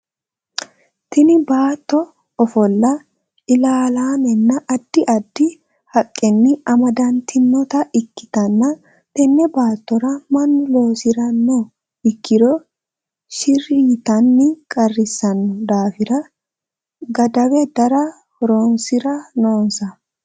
Tinni baatto ofola ilaalaamenna addi addi haqenni amadantinota ikitanna tenne baattora mannu loosirano ikiro shiri yitanni qarisano daafira gadawe dare horoonsira noonsa.